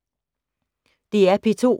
DR P2